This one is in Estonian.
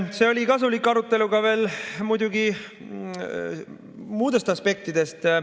See oli kasulik arutelu muidugi ka veel muudest aspektidest.